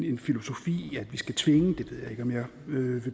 en filosofi at vi skal tvinge ved jeg ikke om jeg vil